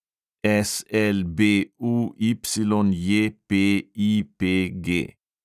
SLBUYJPIPG